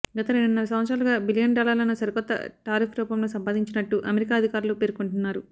గత రెండున్నర సంవత్సరాలుగా బిలియన్ డాలర్లను సరికొత్త టారిఫ్ రూపంలో సంపాదించినట్టు అమెరికా అధికారులు పేర్కొంటున్నారు